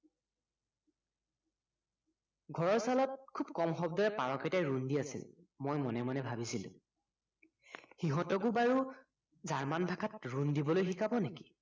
ঘৰৰ ছালত খুব কম শব্দৰে পাৰকেইটাই ৰুণ দি আছিল মই মনে মনে ভাবিছিলো সিহঁতকো বাৰু জাৰ্মান ভাষাত ৰুণ দিবলৈ শিকাব নেকি